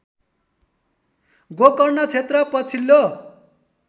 गोकर्ण क्षेत्र पछिल्लो